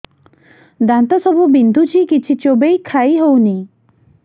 ଦାନ୍ତ ସବୁ ବିନ୍ଧୁଛି କିଛି ଚୋବେଇ ଖାଇ ହଉନି